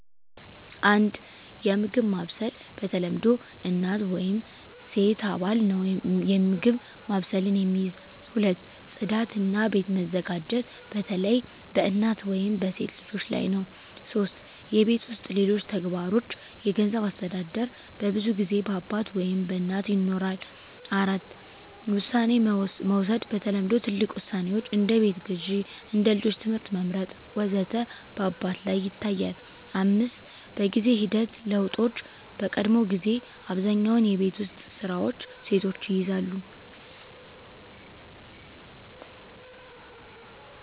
1. የምግብ ማብሰል በተለምዶ እናት ወይም ሴት አባል ነው የምግብ ማብሰልን የሚይዝ። 2. ጽዳት እና ቤት መዘጋጀት በተለይ በእናት ወይም በሴት ልጆች ላይ ነው 3. የቤት ውስጥ ሌሎች ተግባሮች የገንዘብ አስተዳደር በብዙ ጊዜ በአባት ወይም በእናት ይኖራል። 4. ውሳኔ መውሰድ በተለምዶ ትልቅ ውሳኔዎች (እንደ ቤት ግዢ፣ እንደ ልጆች ትምህርት መመርጥ ወዘተ) በአባት ላይ ይታያል፣ 5. በጊዜ ሂደት ለውጦች በቀድሞ ጊዜ አብዛኛውን የቤት ውስጥ ስራዎች ሴቶች ይይዛሉ